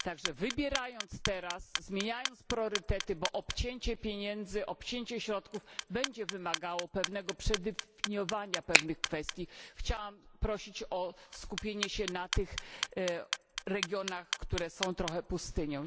Tak że wybierając i zmieniając priorytety gdyż obcięcie pieniędzy, obcięcie środków, będzie wymagało pewnego przedefiniowania pewnych kwestii chciałabym prosić o skupienie się na tych regionach, które są trochę pustynią.